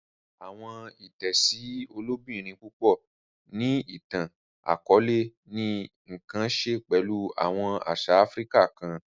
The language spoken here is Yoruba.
Awọn itẹsi ilobirin pupọ ni itan-akọọlẹ ni nkan ṣe pẹlu awọn aṣa Áfíríkà kàn.